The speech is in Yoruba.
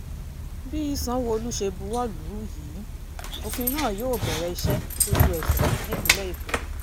bí sanwó-olu ṣe buwọ́ lù ú yìí òfin náà yóò bẹ̀rẹ̀ iṣẹ́ lójú ẹsẹ̀ nípínlẹ̀ èkó